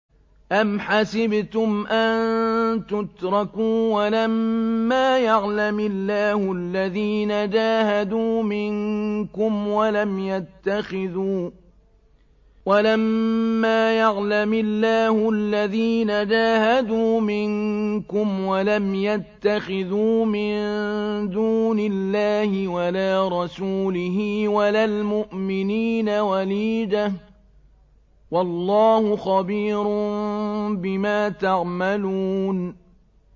أَمْ حَسِبْتُمْ أَن تُتْرَكُوا وَلَمَّا يَعْلَمِ اللَّهُ الَّذِينَ جَاهَدُوا مِنكُمْ وَلَمْ يَتَّخِذُوا مِن دُونِ اللَّهِ وَلَا رَسُولِهِ وَلَا الْمُؤْمِنِينَ وَلِيجَةً ۚ وَاللَّهُ خَبِيرٌ بِمَا تَعْمَلُونَ